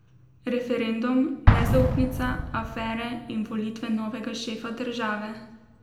Referendum, nezaupnica, afere in volitve novega šefa države.